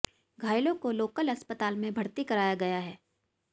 घायलों को लोकल अस्पताल में भर्ती कराया गया है